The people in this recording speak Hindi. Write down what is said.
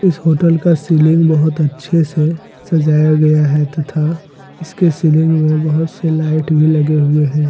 इस होटल का सीलिंग बहुत अच्छे से सजाया गया है तथा इसके सीलिंग में बहुत से लाइट भी लगे हुए हैं।